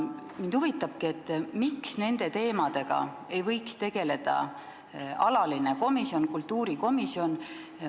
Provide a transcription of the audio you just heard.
Mind huvitabki, miks ei võiks nende teemadega tegeleda alaline komisjon, kultuurikomisjon.